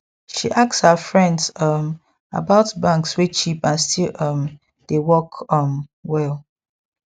she ask her friends um about banks wey cheap and still um dey work um well